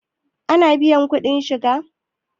ana biyan kuɗin shiga?